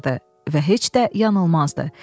Və heç də yanılmazdı.